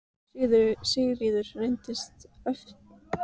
Sigríður: Reyndist erfitt að manna þessa aðgerð?